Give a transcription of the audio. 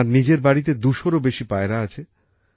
তাঁর নিজের বাড়িতে ২০০র বেশি পায়রা আছে